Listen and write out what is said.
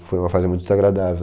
E foi uma fase muito desagradável.